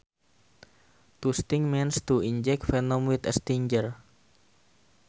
To sting means to inject venom with a stinger